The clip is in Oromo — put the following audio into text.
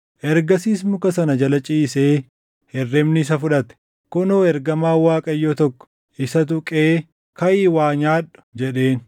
Ergasiis muka sana jala ciisee hirribni isa fudhate. Kunoo ergamaan Waaqayyoo tokko isa tuqee, “Kaʼii waa nyaadhu” jedheen.